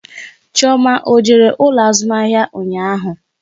Chioma ọ jere ụlọ azụmahịa ụnyaahụ?